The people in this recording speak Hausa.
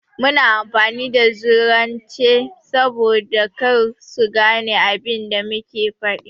Muna amfani da zaurance saboda kar su gane abin da muke faɗi.